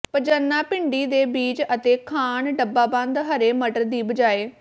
ਪਜੰਨਾ ਭਿੰਡੀ ਦੇ ਬੀਜ ਅਤੇ ਖਾਣ ਡੱਬਾਬੰਦ ਹਰੇ ਮਟਰ ਦੀ ਬਜਾਏ